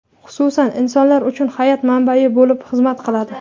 xususan insonlar uchun hayot manbai bo‘lib xizmat qiladi.